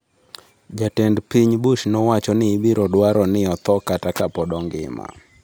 Jatend piny Bush nowacho ni ibiro dwaro ni otho kata ka pod ngima.